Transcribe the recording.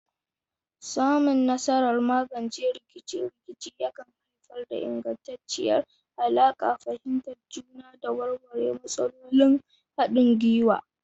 Samun nasarar magance rikice-rikice yakan haifar da ingantacciyar alaƙa, fahimtar juna, da warware matsalolin haɗin gwiwa.